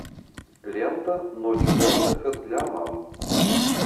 лента ночь отдыха для мам